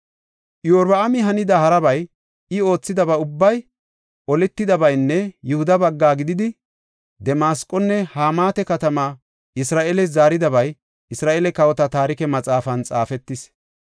Iyorbaami hanida harabay, I oothidaba ubbay, oletidabaynne Yihuda bagga gidida Damasqonne Hamaata katamata Isra7eeles zaaridabay Isra7eele kawota Taarike Maxaafan xaafetis.